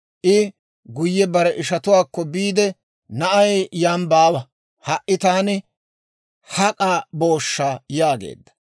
I guyye bare ishatuwaakko biide, «Na'ay yan baawa; ha"i taani hak'a booshsha!» yaageedda.